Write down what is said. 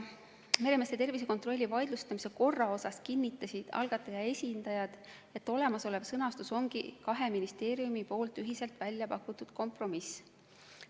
Meremeeste tervisekontrolli vaidlustamise korrast rääkides kinnitasid algataja esindajad, et olemasolev sõnastus on kahe ministeeriumi poolt ühiselt välja pakutud kompromiss.